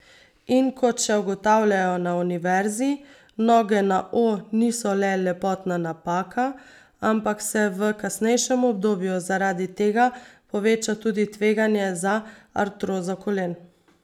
In kot še ugotavljajo na univerzi, noge na O niso le lepotna napaka, ampak se v kasnejšem obdobju zaradi tega poveča tudi tveganje za artrozo kolen.